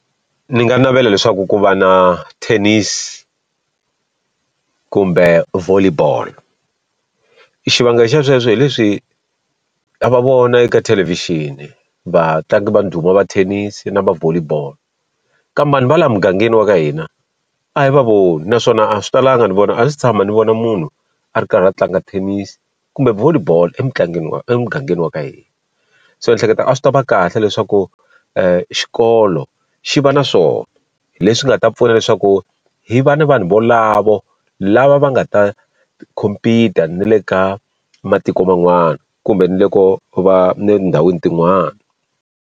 Ni nga navela leswaku ku va na tennis kumbe volley ball. Xivangelo xa sweswo hi leswi ha va vona eka thelevhixini vatlangi va ndhuma va thenisi na va volley ball, kambe va laha mugangeni wa ka hina a hi va voni. Naswona a swi talanga ni vona a si tshama ni vona munhu a ri karhi a tlanga thenisi kumbe volley ball emugangeni wa emugangeni wa ka hina. So ni hleketa a swi ta va kahle leswaku xikolo xi va na swona, hi leswi nga ta pfuna leswaku hi va na vanhu valavo lava va nga ta compete-a na le ka matiko man'wana kumbe ni loko va ni le tindhawini tin'wana.